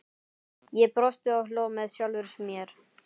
Ég brosti og hló með sjálfri mér.